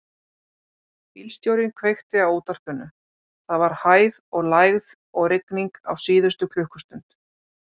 Bílstjórinn kveikti á útvarpinu: það var hæð og lægð og rigning á síðustu klukkustund.